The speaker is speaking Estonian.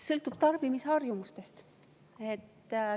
Sõltub tarbimisharjumustest.